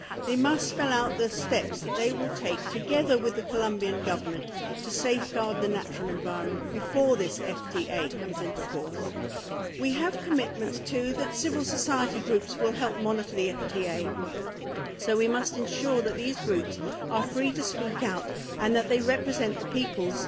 It must spell out the steps that it will take together with the Colombian Government to safeguard the natural environment, before this FTA comes into force. We have commitments, too, that civil society groups will help monitor the FTA, so we must ensure that those groups are free to speak out and that they represent the peoples